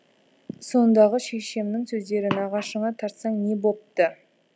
сондағы шешемнің сөздері нағашыңа тартсаң не бопты